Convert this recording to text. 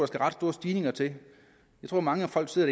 skal ret store stigninger til jeg tror mange folk sidder